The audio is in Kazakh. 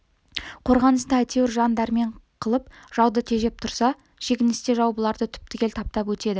қорғаныста әйтеуір жан дәрмен қылып жауды тежеп тұрса шегіністе жау бұларды түп-түгел таптап өтеді